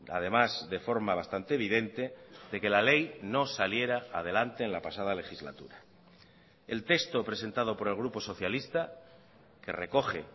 además de forma bastante evidente de que la ley no saliera adelante en la pasada legislatura el texto presentado por el grupo socialista que recoge